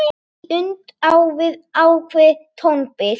Tvíund á við ákveðið tónbil.